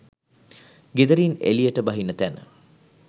ගෙදරින් එළියට බහින තැන